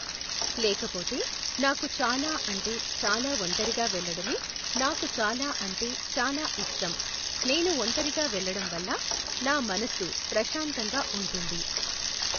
లేకపోతే నాకు చాలా అంటే చాలా ఒంటరిగా వెళ్ళడమే నాకు చాలా అంటే చాలా ఇష్టం. నేను ఒంటరిగా వెళ్లటం వల్ల నా మనసు ప్రశాంతంగా ఉంటుంది.